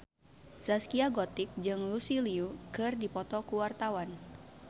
Zaskia Gotik jeung Lucy Liu keur dipoto ku wartawan